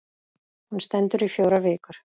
Hún stendur í fjórar vikur.